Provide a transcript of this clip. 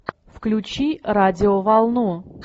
включи радио волну